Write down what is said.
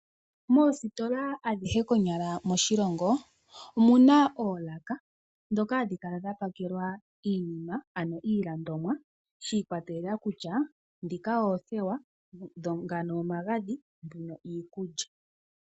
Moositola adhihe konyala moshilongo omu na oolaka dhoka hadhi kala dha pakelwa iinima ano iilandomwa, shi kwatelela kutya dhika oothewa, ngano omagadhi, mbino iikulya.